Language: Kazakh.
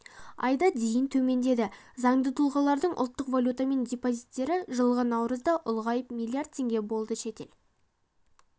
айда дейін төмендеді заңды тұлғалардың ұлттық валютамен депозиттері жылғы наурызда ұлғайып млрд теңге болды шетел